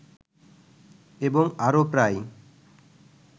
এবং আরো প্রায়